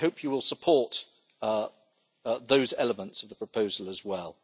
So I hope you will support those elements of the proposal as well.